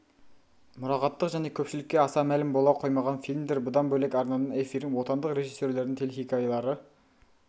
мұрағаттық және көпшілікке аса мәлім бола қоймаған фильмдер бұдан бөлек арнаның эфирін отандық режиссерлердің телехикаялары